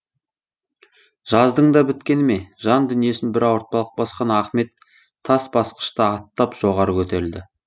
жаздың да біткені ме жан дүниесін бір ауыртпалық басқан ахмет тас басқышты аттап жоғары көтерілді